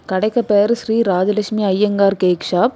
கடைக்கு பேரு Shri Rajalakshmi Iyengar cake shop .